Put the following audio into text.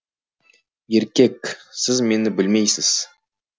е р к е к сіз мені білмейсіз